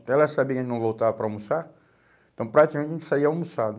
Até ela saber que a gente não voltava para almoçar, então praticamente a gente saía almoçado.